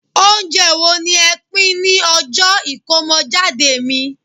ounjẹ wo ni e pin ní ọjọ Ikomojade mi